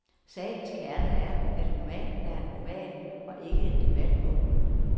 Sagens kerne er, at romanen er en roman og ikke en debatbog.